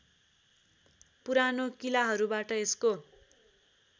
पुरानो किलाहरूबाट यसको